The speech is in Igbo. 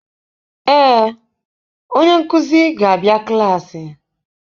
Ee, onye nkuzi ga-abịa klaasị.